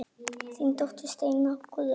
Þín dóttir Steina Guðrún.